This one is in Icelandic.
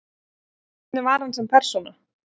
Hvernig var hann sem persóna?